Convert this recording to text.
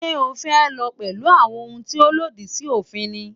Sé o fę fò pęlú àwon oun tí òlòdì sí òfin ni?